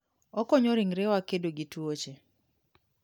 Okonyo ringrewa kedo gi tuoche.